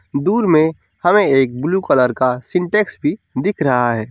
दूर में हमें एक ब्लू कलर का सिंटेक्स भी दिख रहा है।